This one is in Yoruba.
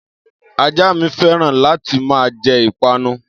Ajá mi féràn láti máa jẹ Ìpanu